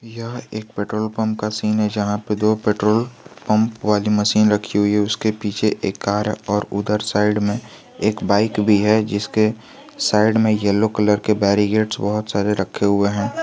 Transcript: यह एक petrol pump का सीन है जहां पे दो पेट्रोल पंप वाली मशीन रखी हुई है उसके पीछे एक कार और उधर साइड में एक बाइक भी है जिसके साइड में येलो कलर के बेरीकेट्स बहुत सारे रखे हुए हैं।